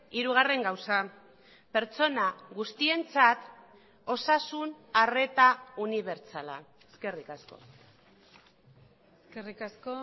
hirugarren gauza pertsona guztientzat osasun arreta unibertsala eskerrik asko eskerrik asko